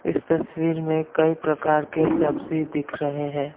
इस तस्वीर में कई प्रकार के सब्जी दिख रहे हैं।